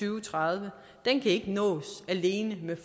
og tredive kan ikke nås alene ved